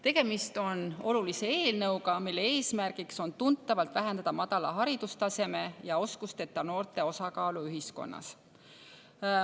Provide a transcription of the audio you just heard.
Tegemist on olulise eelnõuga, mille eesmärk on tuntavalt vähendada madala haridustaseme ja oskusteta noorte osakaalu ühiskonnas.